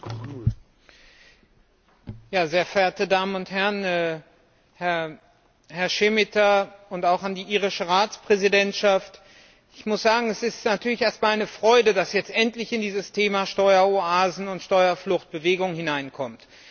Herr Präsident, sehr geehrte Damen und Herren! An Herrn Šemeta und auch an die irische Ratspräsidentschaft gerichtet muss ich sagen Es ist natürlich erst einmal eine Freude, dass jetzt endlich in dieses Thema Steueroasen und Steuerflucht Bewegung hineinkommt.